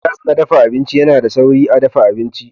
Gas na dafa abinci yana da sauri a dafa abinci.